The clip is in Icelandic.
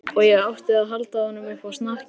Og ég átti að halda honum uppi á snakki!